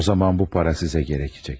O zaman bu para sizə gərəkəcək.